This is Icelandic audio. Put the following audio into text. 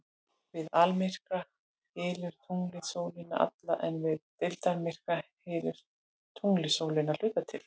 Við almyrkva hylur tunglið sólina alla en við deildarmyrkva hylur tunglið sólina að hluta til.